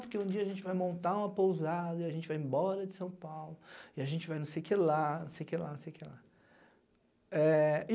Porque um dia a gente vai montar uma pousada, e a gente vai embora de São Paulo, e a gente vai não sei o que lá, não sei o que lá, não sei o que lá. É e